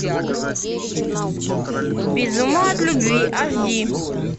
без ума от любви аш ди